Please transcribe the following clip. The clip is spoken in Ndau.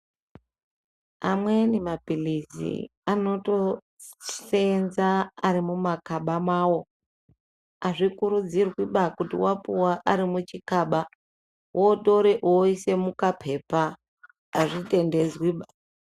Amweni mapilizi anotosenza ari mumakaba mawo. Azvikurudziriba kuti wapuwa arikuchikaba wotore woisa mukapepa, azvitendedzwiba.